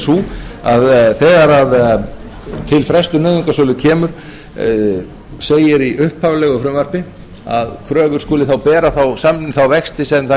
sú að þegar til frestunar nauðungarsölu kemur segir í upphaflegu frumvarpi að kröfur skuli þá bera þá vexti sem þær